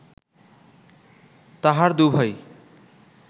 তাহার দুভাই